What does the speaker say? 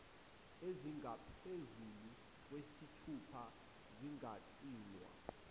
ezingaphezulu kwesithupha zingagcinwa